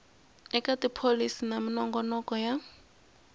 eka tipholisi na minongonoko ya